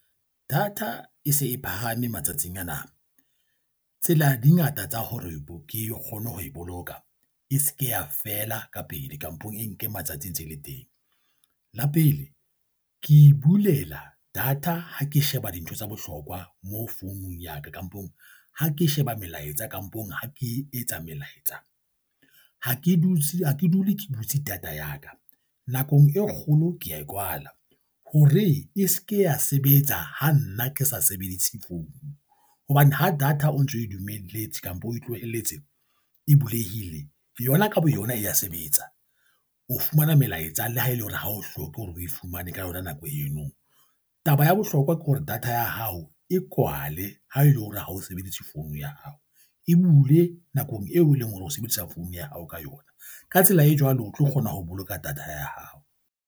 Data e se e phahame matsatsing ana. Tsela di ngata tsa hore ke kgone ho e boloka, e se ke ya fela ka pele kampong e nke matsatsi e ntse e le teng. La pele ke bulela data ha ke sheba dintho tsa bohlokwa mo founung ya ka, kampong ha ke sheba melaetsa, kampong ha ke etsa melaetsa. Ha ke dule ke butse data ya ka nakong e kgolo kea e kwala hore e se ke ya sebetsa ha nna, ke sa sebedise founu hobane ha data o ntso e dumelletse kampo, o tlohelletse e bulehile yona ka boyona e ya sebetsa, o fumana melaetsa le ha ele hore ha o hloke hore o e fumane ka yona nako eno. Taba ya bohlokwa ke hore data ya hao e kwale ha ele hore ha o sebedise phone ya hao e bule nakong eo eleng hore o sebedisa phone ya hao ka yona. Ka tsela e jwalo, o tlo kgona ho boloka data ya hao.